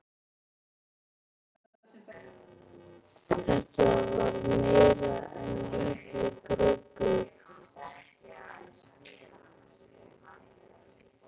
Þetta var meira en lítið gruggugt.